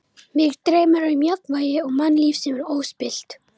Mig dreymir um jafnvægi og mannlíf sem er óspillt.